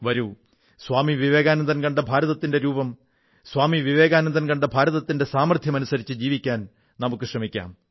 വരൂ സ്വാമി വിവേകാനന്ദൻ കണ്ട ഭാരതത്തിന്റെ രൂപം സ്വാമി വിവേകാനന്ദൻ കണ്ട ഭാരതത്തിന്റെ യഥാർത്ഥ ശക്തിക്കൊത്ത് ജീവിക്കാൻ നമുക്കു ശ്രമിക്കാം